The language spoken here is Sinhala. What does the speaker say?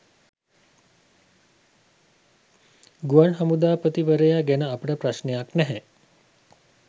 ගුවන් හමුදාපතිවරයා ගැන අපට ප්‍රශ්නයක් නැහැ.